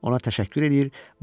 Ona təşəkkür eləyir.